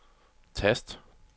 tast